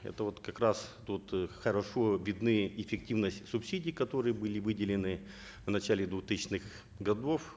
это вот как раз тут э хорошо видны эффективность субсидий которые были выделены в начале двухтысячных годов